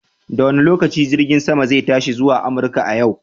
Da wane lokaci jirgin saman zai tashi zuwa Amurka a yau?